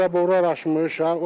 Zaborlar aşmışıq.